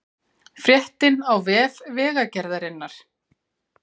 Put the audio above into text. Fréttin á vef Vegagerðarinnar